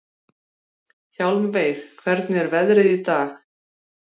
Hjálmveig, hvernig er veðrið í dag?